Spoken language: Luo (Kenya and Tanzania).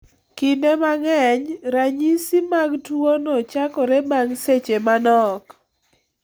Kinde mang'eny, ranyisi mag tuwono chakore bang' seche manok.